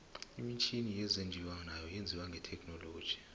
imitjhini yezinjiwa nayo yenziwe ngethekhinoiloji